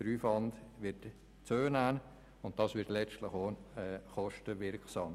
Der Aufwand wird zunehmen und das wird letztlich auch kostenwirksam.